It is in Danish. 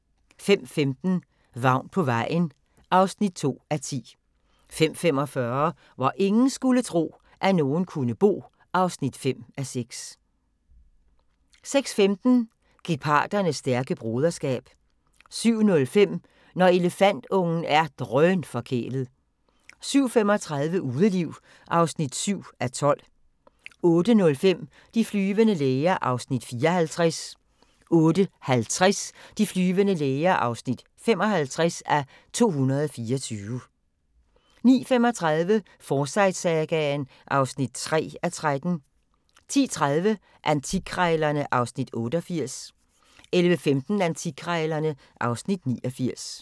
05:15: Vagn på vejen (2:10) 05:45: Hvor ingen skulle tro, at nogen kunne bo (5:6) 06:15: Geparders stærke broderskab 07:05: Når elefantungen er drønforkælet 07:35: Udeliv (7:12) 08:05: De flyvende læger (54:224) 08:50: De flyvende læger (55:224) 09:35: Forsyte-sagaen (3:13) 10:30: Antikkrejlerne (Afs. 88) 11:15: Antikkrejlerne (Afs. 89)